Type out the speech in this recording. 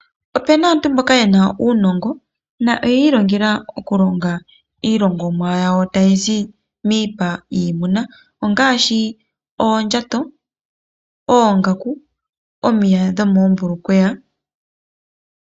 Opuna aantu mboka yena uunongo noyiilongela iilongomwa yawo tayi zi miipa yiimuna. Ongaashi oondjato , oongaku, omiya dhomoombulukweya.